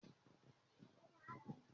Wíìlì ni ó máa ń jẹ́ kí ọkọ̀ lè rìn lọ́nà